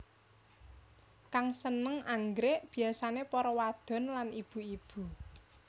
Kang sênêng anggrèk biyasané para wadon lan ibu ibu